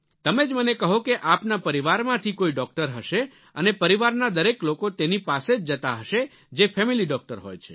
તમે જ મને કહો કે આપના પરિવારમાંથી કોઈ ડોક્ટર હશે અને પરિવારના દરેક લોકો તેની પાસે જ જતા હશે જે ફેમિલી ડોક્ટર હોય છે